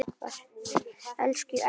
Elsku Ægir minn.